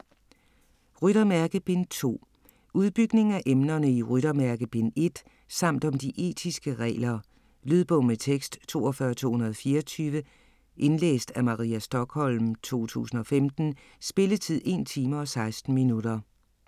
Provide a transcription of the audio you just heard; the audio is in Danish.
Ryttermærke: Bind 2 Udbygning af emnerne i Ryttermærke bind 1 samt om de etiske regler. Lydbog med tekst 42224 Indlæst af Maria Stokholm, 2015. Spilletid: 1 time, 16 minutter.